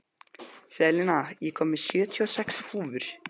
Selina, ég kom með sjötíu og sex húfur!